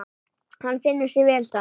Hann finnur sig vel þar.